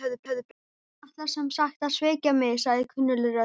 Þú ætlar sem sagt að svíkja mig- sagði kunnugleg rödd.